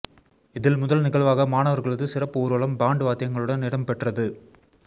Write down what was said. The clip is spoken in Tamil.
இதில் முதல் நிகழ்வாக மாணவர்களது சிறப்பு ஊர்வலம் பாண்ட் வாத்தியங்களுடன் இடம்பெற்றது